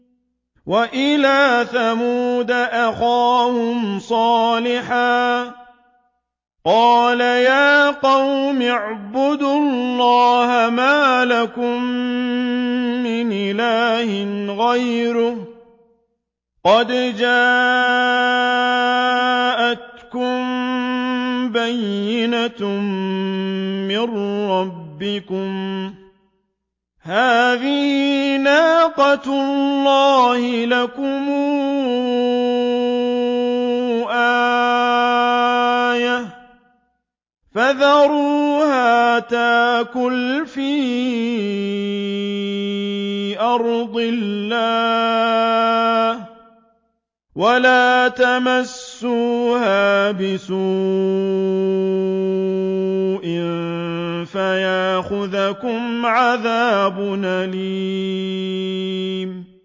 وَإِلَىٰ ثَمُودَ أَخَاهُمْ صَالِحًا ۗ قَالَ يَا قَوْمِ اعْبُدُوا اللَّهَ مَا لَكُم مِّنْ إِلَٰهٍ غَيْرُهُ ۖ قَدْ جَاءَتْكُم بَيِّنَةٌ مِّن رَّبِّكُمْ ۖ هَٰذِهِ نَاقَةُ اللَّهِ لَكُمْ آيَةً ۖ فَذَرُوهَا تَأْكُلْ فِي أَرْضِ اللَّهِ ۖ وَلَا تَمَسُّوهَا بِسُوءٍ فَيَأْخُذَكُمْ عَذَابٌ أَلِيمٌ